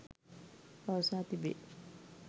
පවසා තිබේ.